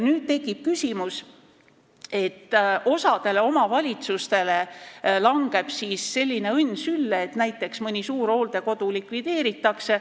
Nüüd tekib küsimus, et osale omavalitsustele langeb selline õnn sülle, et mõni suur hooldekodu likvideeritakse.